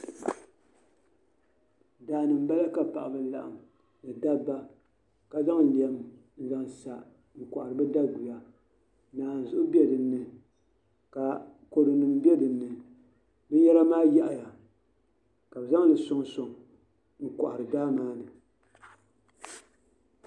Daani nbala ka paɣaba laɣam ni dabba ka zaŋ lɛm n zaŋ sa n kohari bi daguya naanzuhi bɛ dinni ka kodu nim bɛ dinni ka bi zaŋli soŋ soŋ n kohari daa maa ni